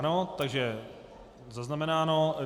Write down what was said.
Ano, takže zaznamenáno.